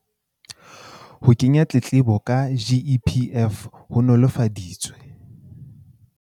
Ho kenya ditletlebo ka GEPF ho nolofaditswe